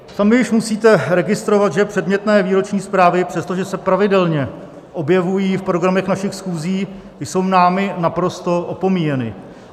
Sami už musíte registrovat, že předmětné výroční zprávy, přestože se pravidelně objevují v programech našich schůzí, jsou námi naprosto opomíjeny.